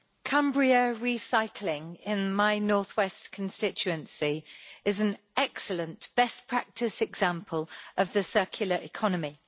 Cumbria Recycling in my North West constituency is an excellent best practice example of the circular economy.